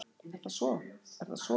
Er það svo?